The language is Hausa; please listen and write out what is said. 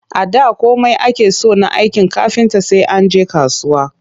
A da komai ake so na aikin kafinta sai an je kasuwa